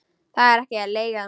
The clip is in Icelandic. Það er ekki leigan.